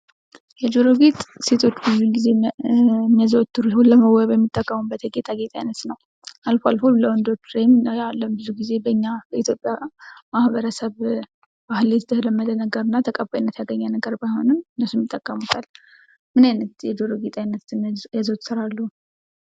የጆሮ ጌጥ ሴቶች ብዙ ጊዜ የሚያዘወትሩት ለመዋቢነት የሚጠቀሙበት የጌጣጌጥ አይነት ነው። አልፎ አልፎ በወንዶች የምናየው በኛ በኢትዮጵያውያን ማህበረሰብ የተለመደና ተቀባይነት ያገኘ ባይሆንም እነሱም ይጠቀሙታል ምን አይነት የጆሮ ጌጥ ያዘወትራሉ?